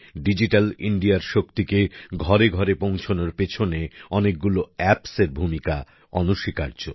digital ইন্ডিয়ার শক্তিকে ঘরে ঘরে পৌঁছনোর পেছনে অনেকগুলো অ্যাপস এর ভূমিকা অনস্বীকার্য